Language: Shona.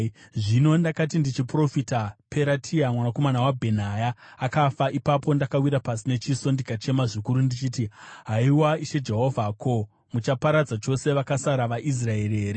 Zvino ndakati ndichiprofita, Peratia mwanakomana waBhenaya akafa. Ipapo ndakawira pasi nechiso ndikachema zvikuru ndichiti, “Haiwa Ishe Jehovha! Ko, muchaparadza chose vakasara vaIsraeri here?”